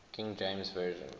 king james version